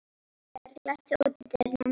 Hallbjörg, læstu útidyrunum.